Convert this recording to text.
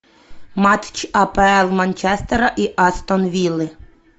матч апл манчестера и астон виллы